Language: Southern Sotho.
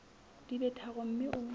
di be tharo mme o